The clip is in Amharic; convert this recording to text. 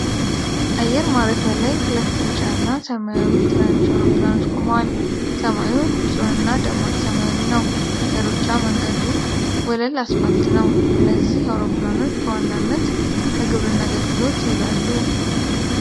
አየር ማረፊያ ላይ ሁለት ቢጫ እና ሰማያዊ ትናንሽ አውሮፕላኖች ቆመዋል። ሰማዩ ንፁህና ደማቅ ሰማያዊ ነው። የሩጫ መንገዱ ወለል አስፋልት ነው። እነዚህ አውሮፕላኖች በዋናነት ለግብርና አገልግሎት ይውላሉ?